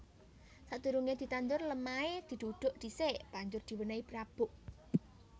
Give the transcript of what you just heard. Sadurungé ditandur lemahé didhudhuk dhisik banjur diwènèhi rabuk